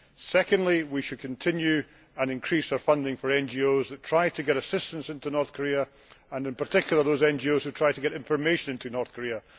Secondly, we should continue to increase our funding for NGOs that try to get assistance into North Korea and in particular those NGOs who try to get information into North Korea.